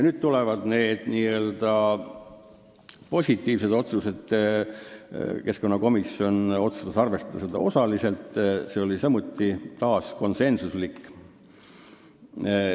" Keskkonnakomisjon otsustas arvestada seda osaliselt ja see oli taas konsensuslik otsus.